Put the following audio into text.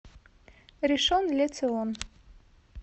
ришон ле цион